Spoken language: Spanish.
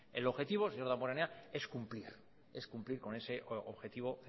el objetivo señor damborenea es cumplir es cumplir con ese objetivo